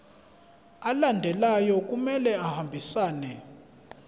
alandelayo kumele ahambisane